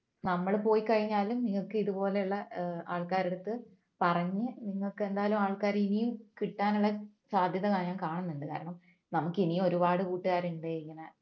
നമ്മൾ പോയി കഴിഞ്ഞാലും നിങ്ങൾക്ക് ഇതുപോലെയുള്ള ഏർ ആൾക്കാരുടെ അടുത്ത് പറഞ്ഞു നിങ്ങൾക്കെന്തായാലും ആൾക്കാര് ഇനിയും കിട്ടാനുള്ള സാധ്യത ഞാൻ കാണുന്നുണ്ട് കാരണം നമുക്ക് ഇനിയും ഒരുപാട് കൂട്ടുകാരുണ്ട് ഇങ്ങനെ